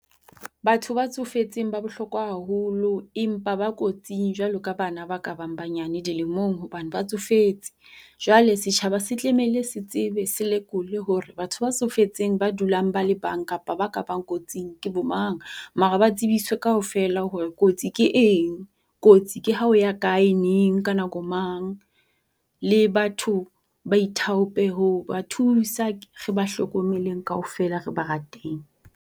Batho ba tsofetseng ba bohlokwa haholo. Empa ba kotsing jwalo ka bana ba ka bang banyane dilemong hobane ba tsofetse. Jwale setjhaba se tlamehile se tsebe se lekole hore batho ba tsofetseng ba dulang ba le bang kapa ba ka bang kotsing ke bo mang. Mara ba tsibiswe kaofela hore kotsi ke eng. Kotsi ke ha o ya kae neng ka nako mang. Le batho ba ithaope ho ba thusa re ba hlokomeleng kaofela re ba rateng.